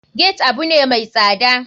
Gate abune mai tsada.